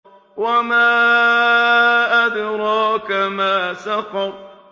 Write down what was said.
وَمَا أَدْرَاكَ مَا سَقَرُ